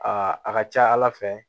Aa a ka ca ala fɛ